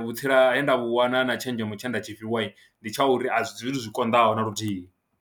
vhutsila he nda vhu wana na tshenzhemo tshe nda tshifhiwa ndi tsha uri zwithu zwi konḓaho na luthihi.